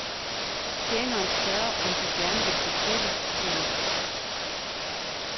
Tjeneren spørger, om de gerne vil bestille, frue.